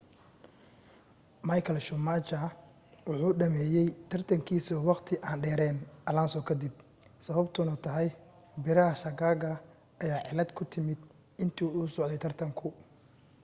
michael schumacher wuxuu dhammeeyay tartankiisii ​​wakhti aan dheerayn alonso kadib sababtuna tahay biraha shaagaga ayaa cillad ku timi intii uu socday tartanku